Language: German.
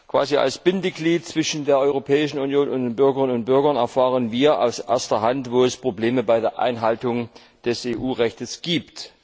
Quasi als Bindeglied zwischen der Europäischen Union und den Bürgerinnen und Bürgern erfahren wir aus erster Hand, wo es Probleme bei der Einhaltung des EU Rechts gibt.